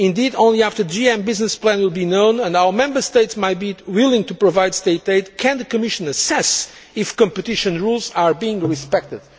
Indeed only after the GM business plan is known, and our Member States might be willing to provide State aid, can the Commission assess whether competition rules are being respected.